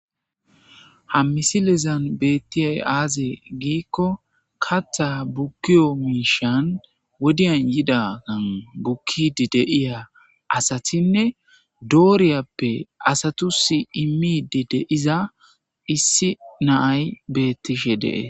Ham misilezan beettiyay aaze giikko katha bukkiyo miishan wodiyan yida an bukkidi deiya asathinne dooriyappe asatusi immide deiza issi naay bettishe dee.